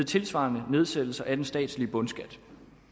tilsvarende nedsættelse af den statslige bundskat